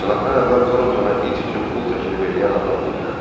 Sınaqdan əvvəl Torntona it üçün pul təklif eləyən adam dilləndi.